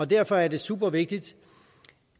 derfor er det super vigtigt